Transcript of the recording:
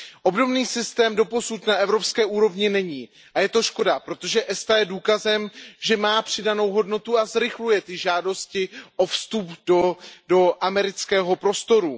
Obdobný systém doposud na evropské úrovni není a je to škoda, protože ESTA je důkazem, že má přidanou hodnotu a zrychluje ty žádosti o vstup do amerického prostoru.